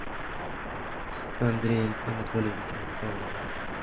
андреем анатольевичем павловым